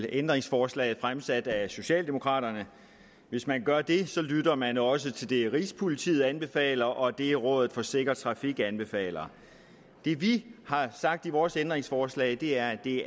ændringsforslaget fremsat af socialdemokraterne hvis man gør det lytter man også til det rigspolitiet anbefaler og det rådet for sikker trafik anbefaler det vi har sagt med vores ændringsforslag er at det